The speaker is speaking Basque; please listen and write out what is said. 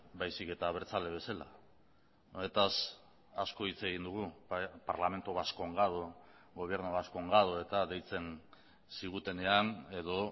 baizik eta abertzale bezala honetaz asko hitz egin dugu parlamento vascongado gobierno vascongado eta deitzen zigutenean edo